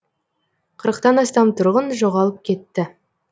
қырықтан астам тұрғын жоғалып кетті